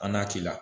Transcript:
An n'a ti la